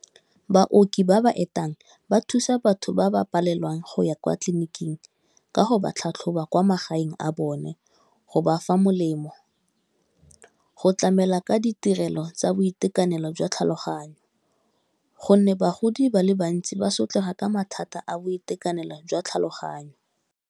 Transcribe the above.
Baoki ba ba etang ba thusa batho ba ba palelwang go ya kwa tleliniking ka go ba tlhatlhoba kwa magaeng a bone go ba fa molemo, go tlamela ka ditirelo tsa boitekanelo jwa tlhaloganyo gonne bagodi ba le bantsi ba sotlega ka mathata a boitekanelo jwa tlhaloganyo.